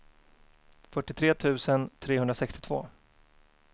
fyrtiotre tusen trehundrasextiotvå